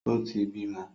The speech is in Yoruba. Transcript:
O ti bímọ.